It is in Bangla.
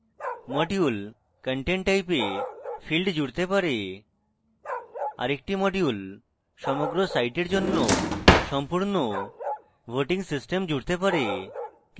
module content type a field জুড়তে পারে আরেকটি module সমগ্র সাইটের জন্য সম্পূর্ণ voting system জুড়তে পারে